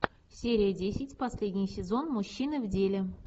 серия десять последний сезон мужчина в деле